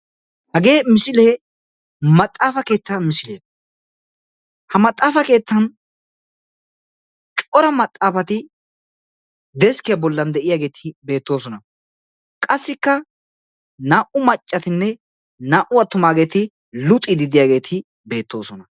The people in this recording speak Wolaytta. Hagee misilee maxaafa keetta misile. Ha maxaafa keettan cora maxaafati deskkiya bollan de"iyaageti beettoosona. qasikka naa"u maccatine naa"u attumaageti luxiiddi diyageti beettosona.